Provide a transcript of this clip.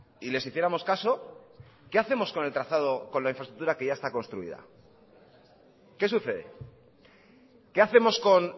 y les hiciéramos caso qué hacemos con el trazado con la infraestructura que ya está construida qué sucede qué hacemos con